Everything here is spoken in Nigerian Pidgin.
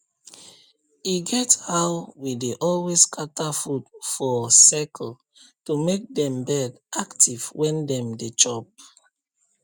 e get how we dey always scatter food for for circle to make dem bird active when dem dey chop